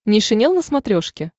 нейшенел на смотрешке